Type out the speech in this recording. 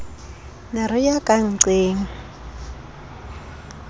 ne re ya ka nnqeng